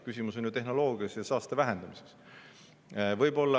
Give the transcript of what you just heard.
Küsimus on tehnoloogias ja saaste vähendamises.